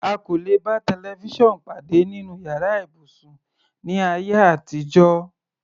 A kò lè bá tẹlifísàn pàdé nínú yàrá ibùsùn, ní ayé àtijọ́.